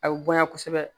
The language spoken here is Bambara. A bɛ bonya kosɛbɛ